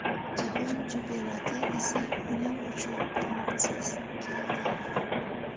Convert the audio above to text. Jahon chempionati esa uning uchun omadsiz keldi.